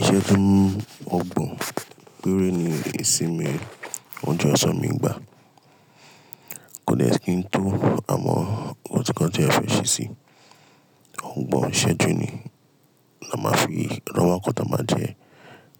Iṣẹ́ju ogbọ̀n péré ni ìsinmi. Wọ́n jọ ẹ̀tọ́ mi n gbà. Kò dè s kí n tó, àmọ́ ko ti nkan teeyan fẹ́ ṣe sí i. Ògbọ̀n iṣẹ́jú ni, la máa fi lọ́ wa nkan ta máa jẹ,